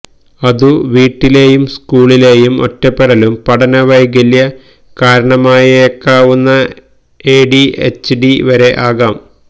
അതു വീട്ടിലെയും സ്കൂളിലേയും ഒറ്റപ്പെടലും പഠന വൈകല്യ കാരണമായേക്കാവുന്ന എഡിഎച്ച്ഡി വരെ ആകാം